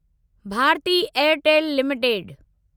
Bharti Airtel limited